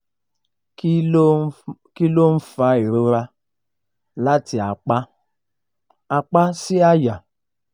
kí ló ń fa ìrora láti apá apá sí àyà?